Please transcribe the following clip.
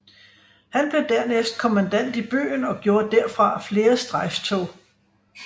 Han blev dernæst kommandant i byen og gjorde derfra flere strejftog